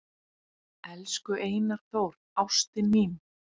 """Elsku Einar Þór, ástin mín,"""